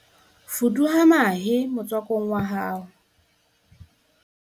fuduwa mahe motswakong wa hao